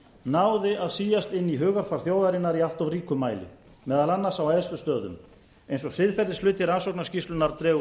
náði að síast inn í hugarfar þjóðarinnar í allt of ríkum mæli meðal annars á æðstu stöðum eins og siðferðishluti rannsóknarskýrslunnar dregur